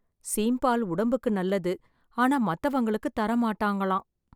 சீம்பால் உடம்புக்கு நல்லது, ஆனா மத்தவங்களுக்கு தர மாட்டாங்களாம்.